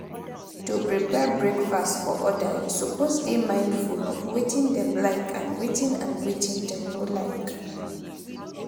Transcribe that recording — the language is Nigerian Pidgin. to prepare breakfast for other you suppose de mindful of wetin dem like and wetin and wetin dem no like